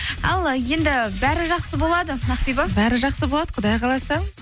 ал енді бәрі жақсы болады ақбибі бәрі жақсы болады құдай қаласа